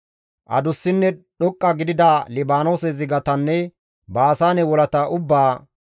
Adussinne dhoqqa gidida Libaanoose zigatanne Baasaane wolata ubbaa,